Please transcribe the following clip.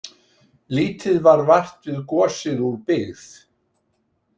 Lítið varð vart við gosið úr byggð.